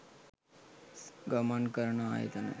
ගමන් කරන ආයතන